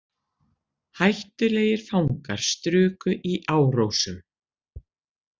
Hættulegir fangar struku í Árósum